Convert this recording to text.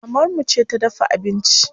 Mamar mu ce ta dafa abinci.